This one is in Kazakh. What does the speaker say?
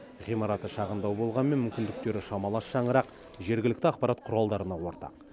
ғимараты шағындау болғанмен мүмкіндіктері шамалас шаңырақ жергілікті ақпарат құралдарына ортақ